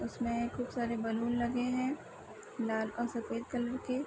उसमें खूब सारे बैलून लगे हैं लाल और सफ़ेद कलर के।